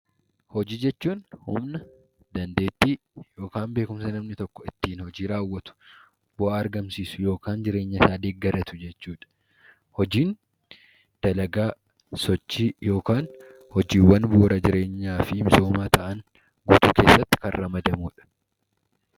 Hojii jechuun humna, dandeettii yookaan beekumsa namni tokko ittiin hojii raawwatu, bu'aa argamsiisu yookaan jireenyasaa deeggaratu jechuu dha. Hojiin dalagaa, sochii yookaan hojiiwwan bu'uura jireenyaa fi misoomaa ta'an guutuu keessatti kan ramadamu dha.